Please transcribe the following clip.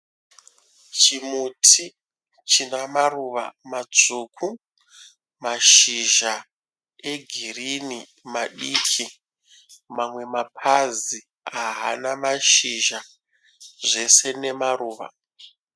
Chimuti china maruva matsvuku, mashizha egirini madiki. Mamwe mapazi haana mashizha zvese nemaruva.